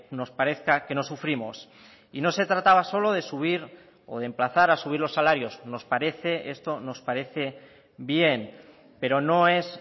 nos parezca que no sufrimos y no se trataba solo de subir o de emplazar a subir los salarios nos parece esto nos parece bien pero no es